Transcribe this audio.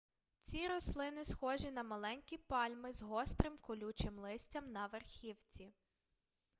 ці рослини схожі на маленькі пальми з гострим колючим листям на верхівці